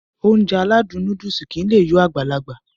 Ounjẹ aládùn nóódùsì kìí lé yó Agbalaga